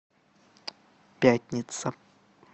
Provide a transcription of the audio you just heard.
пятница